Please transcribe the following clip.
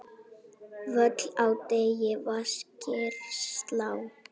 Völl á degi vaskir slá.